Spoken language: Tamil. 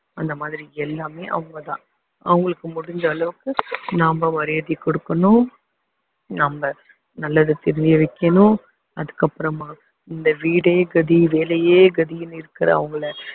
அந்த மாதிரி எல்லாமே அவங்கதான் அவங்களுக்கு முடிஞ்ச அளவுக்கு நாம மரியாதை கொடுக்கணும் நாம நல்லதை தெரிய வைக்கணும் அதுக்கப்புறமா இந்த வீடே கதி வேலையே கதின்னு இருக்கிறவங்களை